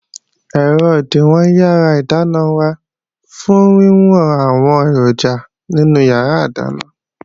Ẹ̀rọ òdìwọ̀n yàrá ìdáná wà fún wíwọn àwọn èròjà nínú yàrá ìdáná